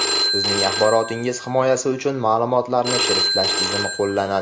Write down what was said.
Sizning axborotingiz himoyasi uchun ma’lumotlarni shifrlash tizimi qo‘llanadi.